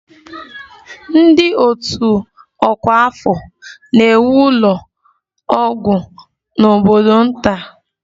Ndị otu ọkwa afọ na-ewu ụlọ ọgwụ n'obodo nta